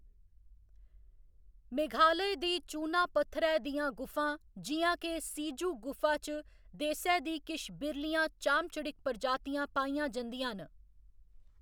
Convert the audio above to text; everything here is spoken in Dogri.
मेघालय दी चूना पत्थरै दियां गुफां जि'यां के सिजू गुफा च देसै दी किश बिरलियां चाम चड़िक्क प्रजातियां पाइयां जंदियां न।